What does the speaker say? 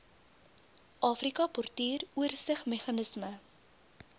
afrika portuur oorsigsmeganisme